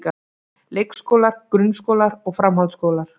Leikskólar, grunnskólar og framhaldsskólar.